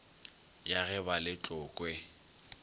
ya ge ba le tlokwe